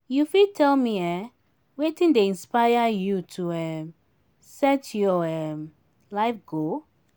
you fit tell me um wetin dey inspire you to um set your um life goal?